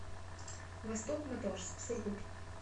восток моторс сургут